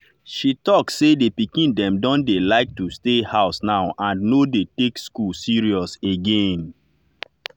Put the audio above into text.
she talk say the pikin dem don dey like to stay house now and no dey take school serious again.